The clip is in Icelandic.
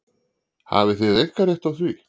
Hafið þér einkarétt á því?